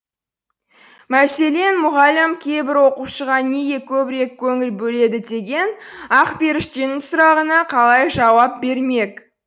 мәселен мұғалім кейбір оқушыға неге көбірек көңіл бөледі деген ақперіштенің сұрағына қалай жауап бермек